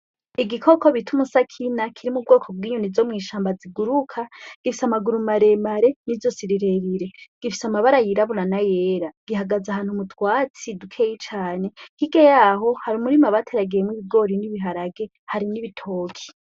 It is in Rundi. Igikoko bita umusakina kiri m'ubwoko bw'inyoni zomw'ishamba ziguruka gifise amaguru maremare n'izosi rirerire gifise amabara yirabura n'ayera gihagaze ahantu mu twatsi dukeyi cane hirya yaho hari umurima bateragiyemwo ibigori n'ibiharage harimwo ibitoki.